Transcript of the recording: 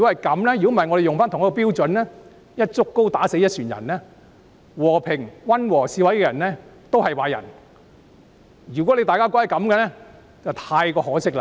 否則，如果以同一標準對待他們，把和平、溫和的示威人士也視作壞人，那就太可惜了。